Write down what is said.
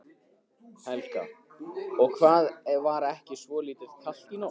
Helga: Og var ekki svolítið kalt í nótt?